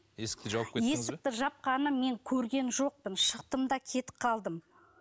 есікті жауып есікті жапқанын мен көрген жоқпын шықтым да кетіп қалдым